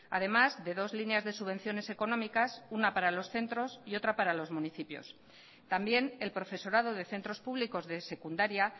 además de dos líneas de subvenciones económicas una para los centros y otra para los municipios también el profesorado de centros públicos de secundaria